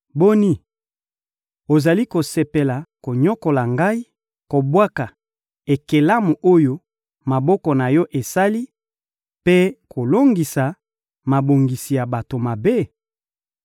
Boni, ozali kosepela konyokola ngai, kobwaka ekelamu oyo maboko na Yo esali, mpe kolongisa mabongisi ya bato mabe?